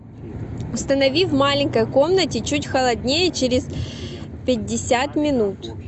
установи в маленькой комнате чуть холоднее через пятьдесят минут